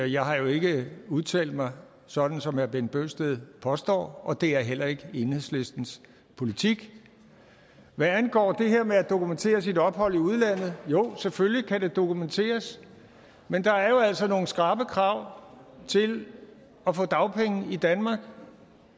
jeg har jo ikke udtalt mig sådan som herre bent bøgsted påstår og det er heller ikke enhedslistens politik hvad angår det her med at dokumentere sit ophold i udlandet jo selvfølgelig kan det dokumenteres men der er altså nogle skrappe krav til at få dagpenge i danmark